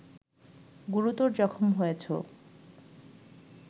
গুরুতর জখম হয়েছ